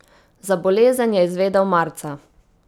Za bolezen je izvedela marca.